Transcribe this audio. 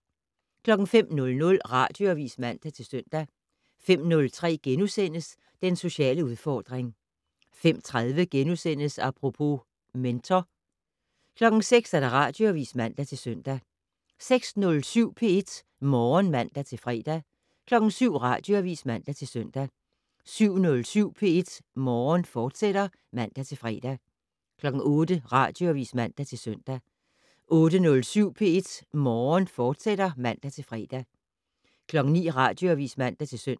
05:00: Radioavis (man-søn) 05:03: Den sociale udfordring * 05:30: Apropos - mentor * 06:00: Radioavis (man-søn) 06:07: P1 Morgen (man-fre) 07:00: Radioavis (man-søn) 07:07: P1 Morgen, fortsat (man-fre) 08:00: Radioavis (man-søn) 08:07: P1 Morgen, fortsat (man-fre) 09:00: Radioavis (man-søn)